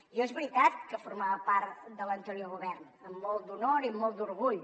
jo és veritat que formava part de l’anterior govern amb molt d’honor i molt d’orgull